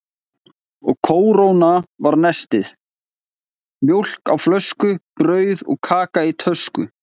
Og kórónan var nestið: mjólk á flösku, brauð og kaka í tösku.